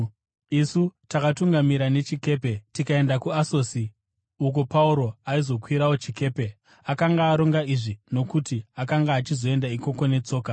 Isu takatungamira nechikepe tikaenda kuAsosi, uko Pauro aizokwirawo chikepe. Akanga aronga izvi nokuti akanga achizoenda ikoko netsoka.